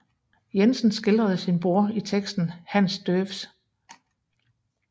Jensen skildrede sin bror i teksten Hans Deuvs